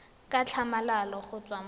ka tlhamalalo go tswa mo